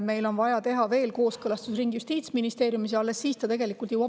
Meil on vaja teha veel üks kooskõlastusring Justiitsministeeriumis ja alles siis ta jõuab valitsusse.